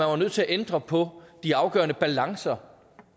var nødt til at ændre på de afgørende balancer